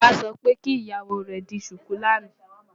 Bàbá sọ pé kí ìyàwó rẹ̀ di ṣùkú lánàá.